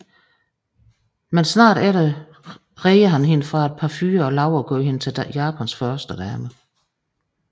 Men umiddelbart efter redder han hende fra et par fyre og lover at gøre hende til Japans førstedame